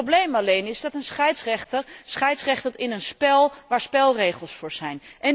Het probleem alleen is dat een scheidsrechter scheidsrechtert in een spel waar spelregels voor zijn.